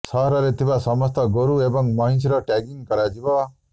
ସହରରେ ଥିବା ସମସ୍ତ ଗୋରୁ ଏବଂ ମଇଁଷିର ଟ୍ୟାଗିଂ କରାଯିବ